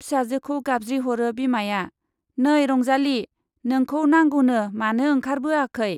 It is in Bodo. फिसाजोखौ गाबज्रिहरो बिमाया, नै रंजाली, नोंखौ नांगौनो-मानो ओंखारबोआखै ?